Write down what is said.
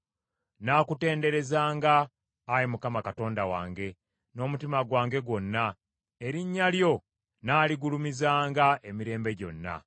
Nnaakutenderezanga, Ayi Mukama Katonda wange, n’omutima gwange gwonna; erinnya lyo nnaaligulumizanga emirembe gyonna.